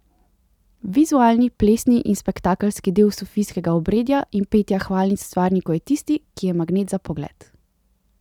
Vizualni, plesni in spektakelski del sufijskega obredja in petja hvalnic stvarniku je tisti, ki je magnet za pogled.